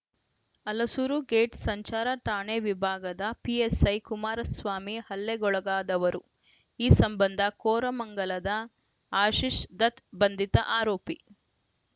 Halasuru gate ಸಂಚಾರ ಠಾಣೆ ವಿಭಾಗದ ಪಿಎಸ್‌ಐ ಕುಮಾರಸ್ವಾಮಿ ಹಲ್ಲೆಗೊಳಗಾದವರು ಈ ಸಂಬಂಧ ಕೋರಮಂಗಲದ ಆಶೀಶ್‌ ದತ್‌ ಬಂಧಿತ ಆರೋಪಿ